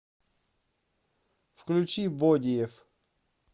включи бодиев